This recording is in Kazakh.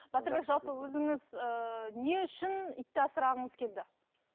батырбек жалпы өзіңіз ыыы не үшін итті асырағыңыз келді